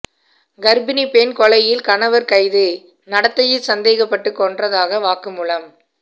கர்ப்பிணி பெண் கொலையில் கணவர் கைது நடத்தையில் சந்தேகப்பட்டு கொன்றதாக வாக்குமூலம்